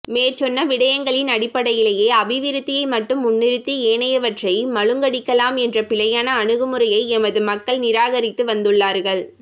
மேற்சொன்ன விடயங்களின் அடிப்படையிலே அபிவிருத்தியை மட்டும் முன்னிறுத்தி ஏனையவற்றை மழுங்கடிக்கலாம் என்ற பிழையான அணுகுமுறையை எமது மக்கள் நிராகரித்து வந்துள்ளார்கள்